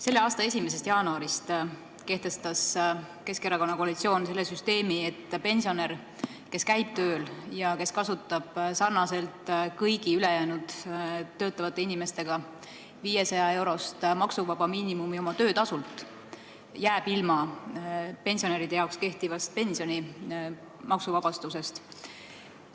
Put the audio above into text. Selle aasta 1. jaanuarist kehtestas Keskerakonna juhitav koalitsioon süsteemi, et pensionär, kes käib tööl ja kes kasutab sarnaselt kõigi ülejäänud töötavate inimestega 500-eurost maksuvaba miinimumi oma töötasult, jääb ilma pensionäride jaoks kehtivast pensioni maksuvabastusest.